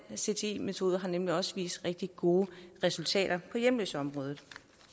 cti metoden har nemlig også vist rigtig gode resultater på hjemløseområdet